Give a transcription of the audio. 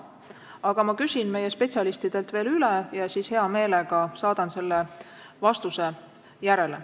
Aga ma küsin meie spetsialistidelt veel üle ja siis hea meelega saadan selle vastuse tagantjärele.